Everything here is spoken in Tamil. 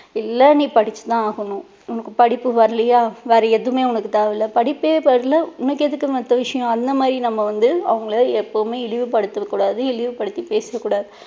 இல்ல நீ படிச்சு தான் ஆகணும் உனக்கு படிப்பு வரலையா வேற எதுவுமே உனக்கு தேவையில்ல படிப்பே வரலை உனக்கு எதுக்கு மத்த விஷயம் அந்த மாதிரி நம்ம வந்து அவங்களை எப்பவுமே இழிவு படுத்த கூடாது இழிவு படுத்தி பேச கூடாது